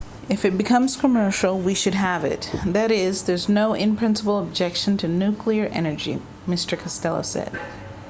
if it becomes commercial we should have it that is there's no in-principle objection to nuclear energy mr costello said